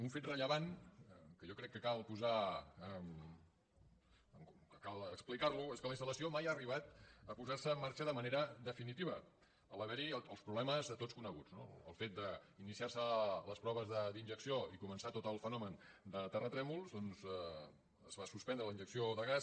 un fet rellevant que jo crec que cal explicar és que la instal·lació mai ha arribat a posar·se en marxa de manera definitiva a l’haver·hi els problemes de tots coneguts no pel fet d’iniciar·se les proves d’injecció i comen·çar tot el fenomen de terratrèmols doncs es va sus·pendre la injecció de gas